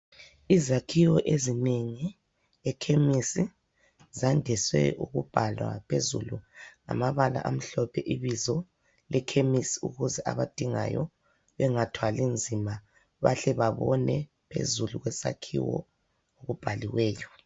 Izakhiwo ezinengi ekhemisi zandise ukubhalwa phezulu ngamabala amhlophe ibizo lekhemisi ukuze abadingayo bengathwali nzima ukuze babone phezulu okubhaliweyo.